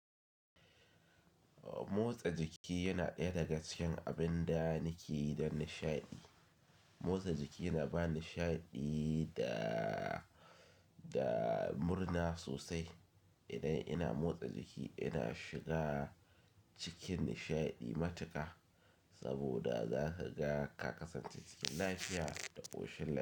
Motsa jiki yana ɗaya daga cikin abin da nake yi don nishaɗi. Motsa jiki yana ba nishaɗi da, da murna sosai. Idan ina motsa jiki, ina shiga cikin nishaɗi matuƙa saboda zakaga ka kasance cin lafiya da ƙoshin.